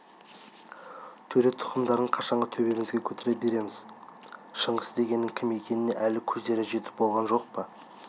төре тұқымдарын қашанғы төбемізге көтере береміз шыңғыс дегеннің кім екеніне әлі көздерің жетіп болған жоқ па